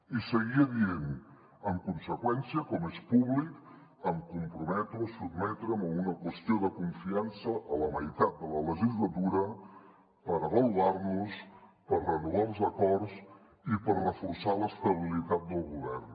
i seguia dient en conseqüència com és públic em comprometo a sotmetre’m a una qüestió de confiança a la meitat de la legislatura per avaluar nos per renovar els acords i per reforçar l’estabilitat del govern